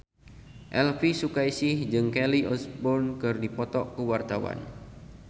Elvy Sukaesih jeung Kelly Osbourne keur dipoto ku wartawan